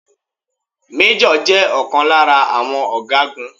Méjọ̀ jẹ ọ̀kan lára àwọn ọ̀gágun